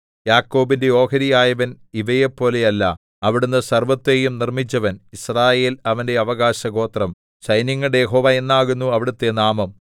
യാക്കോബിന്റെ ഓഹരിയായവൻ ഇവയെപ്പോലെയല്ല അവിടുന്ന് സർവ്വത്തെയും നിർമ്മിച്ചവൻ യിസ്രായേൽ അവന്റെ അവകാശഗോത്രം സൈന്യങ്ങളുടെ യഹോവ എന്നാകുന്നു അവിടുത്തെ നാമം